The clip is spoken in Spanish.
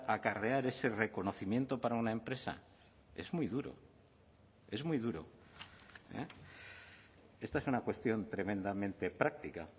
acarrear ese reconocimiento para una empresa es muy duro es muy duro esta es una cuestión tremendamente práctica